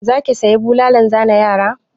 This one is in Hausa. Za ki saya bulalan zane yara?